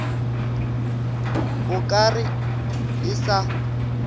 o ka re e sa